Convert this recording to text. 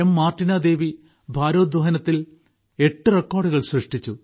Martina Devi ഭാരോദ്വഹനത്തിൽ എട്ട് റെക്കോർഡുകൾ സൃഷ്ടിച്ചു